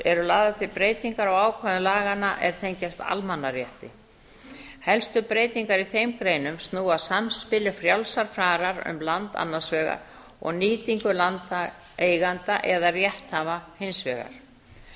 eru lagðar til breytingar á ákvæðum laganna er tengjast almannarétti helstu breytingar í þeim greinum snúa að samspili frjálsrar farar um land annars vegar og nýtingu landeigenda eða rétthafa hins vegar